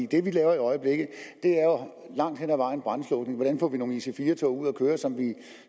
det vi laver i øjeblikket er langt hen ad vejen brandslukning hvordan får vi nogle ic4 tog